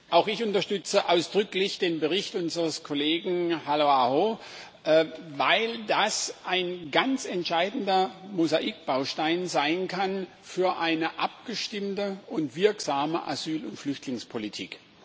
Auch ich unterstütze ausdrücklich den Bericht unseres Kollegen Halla-aho, weil das ein ganz entscheidender Mosaikbaustein sein kann für eine abgestimmte und wirksame Asyl und Flüchtlingspolitik.